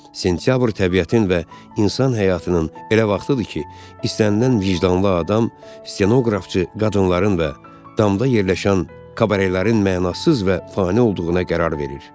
Sentyabr təbiətin və insan həyatının elə vaxtıdır ki, istənilən vicdanlı adam stenoqrafçı qadınların və damda yerləşən kabarelərin mənasız və fani olduğuna qərar verir.